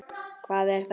Hvað er þetta?